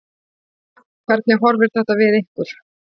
Hvernig horfir þetta við ykkur?